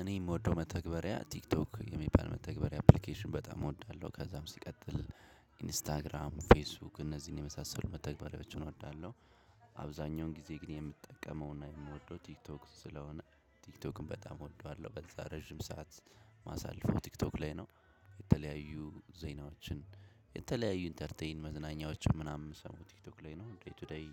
እኔ የምወደው መተግበሪያ ቲክቶክ የሚባል መተግበሪያ አፕሊኬሽን በጣም እወዳለሁ ከዛም ሲቀጥል ኢንስታግራም ፌስቡክ እነዚህን የመሳሰሉ መተግበሪያዎችን እወዳለው። አብዛኛውን ጊዜ ግን የምትጠቀመውና የምወደው ቲክቶክ ስለሆነ ቲክቶክን በጣም እወደዋለሁ በዛ ረጅም ሰዓት ማሳልፈው ቲክቶክ ላይ ነው። የተለያዩ ዜናዎችን የተለያዩ ኢንተርቴይን መዝናኛዎችን ምናምን ምሰማው ቲክቶክ ላይ ነው ዴይ ቱ ዴይ።